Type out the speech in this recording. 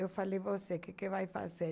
Eu falei, você, o que vai fazer?